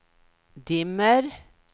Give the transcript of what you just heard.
dimmer